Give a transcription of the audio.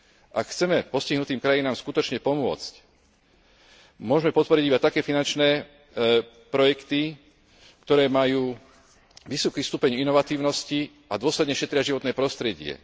Ak chceme postihnutým krajinám skutočne pomôcť, môžeme podporiť iba také finančné projekty, ktoré majú vysoký stupeň inovatívnosti a dôsledne šetria životné prostredie.